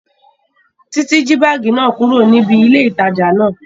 Títí jí báàgì náà kúrò níbi ilé ìtajà náà